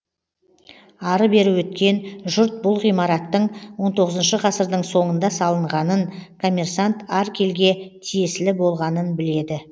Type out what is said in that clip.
ары бері өткен жұрт бұл ғимараттың он тоғызыншы ғасырдың соңында салынғанын коммерсант аркельге тиесілі болғанын біледі